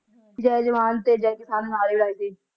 ਜੈ ਜਵਾਨ ਤੇ ਜੈ ਕਿਸਾਨ ਨਾਰੇ ਲਾਏ ਸੀ